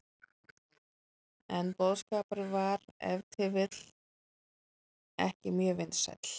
En boðskapurinn var ef til vill ekki mjög vinsæll.